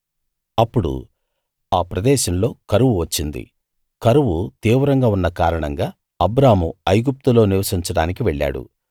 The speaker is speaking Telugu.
అప్పుడు ఆ ప్రదేశంలో కరువు వచ్చింది కరువు తీవ్రంగా ఉన్న కారణంగా అబ్రాము ఐగుప్తులో నివసించడానికి వెళ్ళాడు